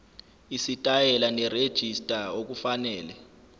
isitayela nerejista okufanele